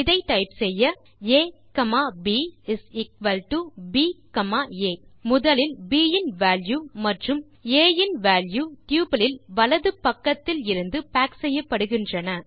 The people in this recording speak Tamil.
இதை டைப் செய்ய a comma b is equal to b comma a முதலில் ப் இன் வால்யூ மற்றும் ஆ இன் வால்யூ டப்பிள் இல் வலது பக்கத்தில் இருந்து பாக் செய்யப்படுகின்றன